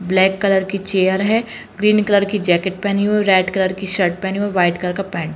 Black colour की chair है green colour की जैकिट पहने हुई है रेड कलर कि शर्ट पहनी हुई है व्हाइट कलर का पेंट ।